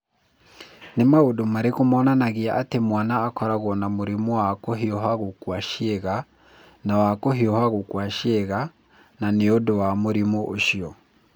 Nĩ maũndũ marĩkũ monanagia atĩ mwana akoragwo na mũrimũ wa kũhiũha gũkua ciĩga na wa kũhiũha gũkua ciĩga, na nĩ ũndũ wa mũrimũ ũcio?